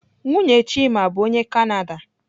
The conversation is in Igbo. Nwunye Chima bụ onye Kanada.